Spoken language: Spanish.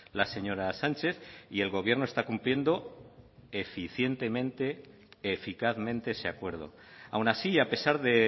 la señora sánchez y el gobierno está cumpliendo eficientemente eficazmente ese acuerdo aun así a pesar de